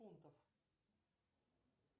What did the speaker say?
фунтов